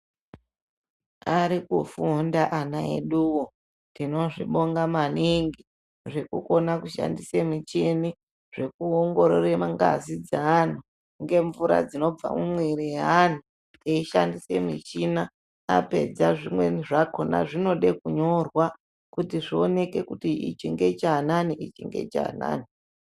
Ari kufunda ana eduwo, tinozvibonga maningi, zvekukona kushandise micheni ,zvekuongorora mangazi eanhu ngemvura dzinobva mumwiiri yeanhu, eishandisa michina, apedza zvimweni zvakhona zvinode kunyorwa, kuti ichi ngechaanani, ichi ngechaanani.